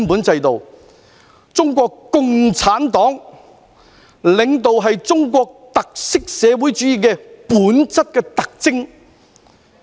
中國共產黨領導是中國特色社會主義最本質的特徵。